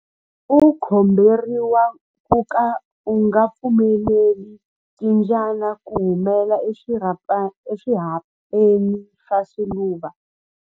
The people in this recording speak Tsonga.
U komberiwa ku ka u nga pfumeleli timbyana ku humela eswirhapeni swa swiluva.